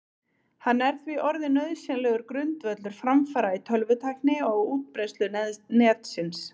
Hann er því orðinn nauðsynlegur grundvöllur framfara í tölvutækni og á útbreiðslu Netsins.